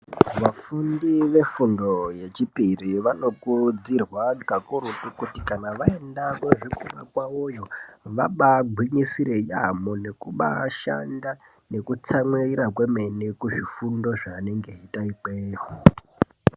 Vafundi vefundo yechipiri vanokurudzirwa kakurutu kuti kana vaenda kuzvikora kwavoyo vabagwinyisire yaamho nekuba shanda nekutsamwirira kwemene kuzvifundo zvanenge eiita ikweyo.